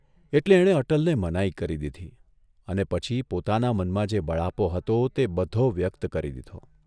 એટલે એણે અટલને મનાઇ કરી દીધી અને પછી પોતાના મનમાં જે બળાપો હતો તે બધો વ્યક્ત કરી દીધો.